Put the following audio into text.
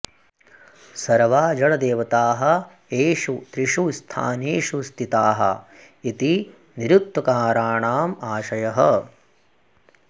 सर्वा जडदेवताः एषु त्रिषु स्थानेषु स्थिताः इति निरुक्तकाराणामाशयः